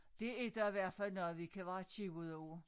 Det er da i hvert fald noget vi kan være tjivet over